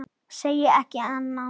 Segi ekki annað.